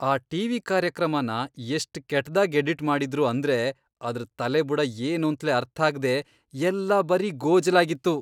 ಆ ಟಿ.ವಿ. ಕಾರ್ಯಕ್ರಮನ ಎಷ್ಟ್ ಕೆಟ್ದಾಗ್ ಎಡಿಟ್ ಮಾಡಿದ್ರು ಅಂದ್ರೆ ಅದ್ರ್ ತಲೆಬುಡ ಏನೂಂತ್ಲೇ ಅರ್ಥಾಗ್ದೇ ಎಲ್ಲ ಬರೀ ಗೋಜಲಾಗಿತ್ತು.